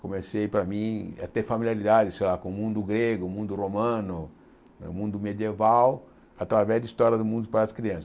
comecei, para mim, a ter familiaridade, sei lá, com o mundo grego, o mundo romano, o mundo medieval, através de história do mundo para as crianças.